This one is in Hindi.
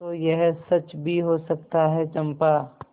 तो यह सच भी हो सकता है चंपा